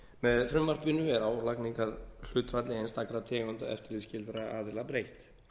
með frumvarpinu er álagningarhlutfalli einstakra tegunda eftirlitsskyldra aðila breytt